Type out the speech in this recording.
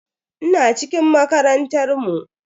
Ina cikin makarantar mu.